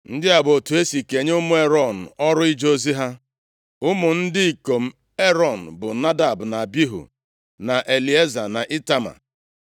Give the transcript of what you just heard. Ndị a bụ otu e si kenye ụmụ Erọn ọrụ ije ozi ha: Ụmụ ndị ikom Erọn bụ Nadab, na Abihu, na Elieza, na Itama.